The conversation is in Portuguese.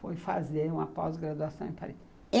Foi fazer uma pós-graduação em Paris.